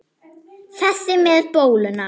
Þessi með bóluna?